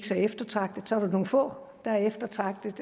så eftertragtede så er der nogle få der er eftertragtede